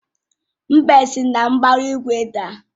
Mbe si na mbara igwe daa.